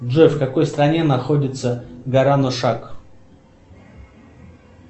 джой в какой стране находится гора нушак